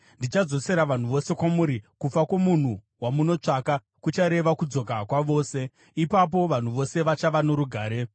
Ndichadzosera vanhu vose kwamuri. Kufa kwomunhu wamunotsvaka kuchareva kudzoka kwavose; ipapo vanhu vose vachava norugare.”